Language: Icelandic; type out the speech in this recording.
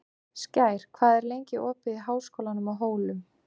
Skær, hvað er lengi opið í Háskólanum á Hólum?